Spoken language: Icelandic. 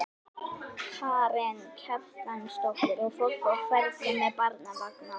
Karen Kjartansdóttir: Og fólk á ferli með barnavagna?